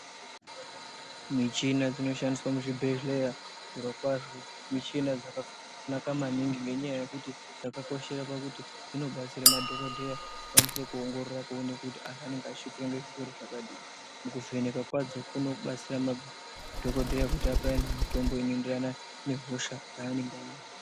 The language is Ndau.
Michina dzinoshandiswa muzvibhedhlera, zvirokwazvo michina dzakanaka maningi ngenyaya yekuti dzakakoshera pakuti dzinobatsire madhogodheya vakwanise kuongorora kuone kuti anhu anenge achishupika ngezvirwere zvakadini. Mukuvheneka kwadzo kunobatsira madhogodheya kuti ape anhu mitombo inoenderana nehosha dzaanenge anadzo.